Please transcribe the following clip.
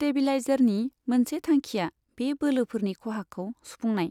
स्टेबिलाइजारनि मोनसे थांखिया बे बोलोफोरनि खहाखौ सुफुंनाय।